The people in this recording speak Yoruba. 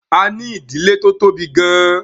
A ní ìdílé tó tóbi gan-an